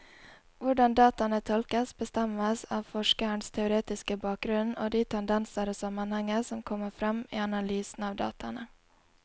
Hvordan dataene tolkes, bestemmes av forskerens teoretiske bakgrunnen og de tendenser og sammenhenger som kommer frem i analysen av dataene.